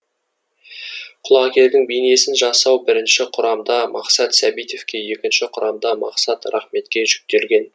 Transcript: құлагердің бейнесін жасау бірінші құрамда мақсат сәбитовке екінші құрамда мақсат рахметке жүктелген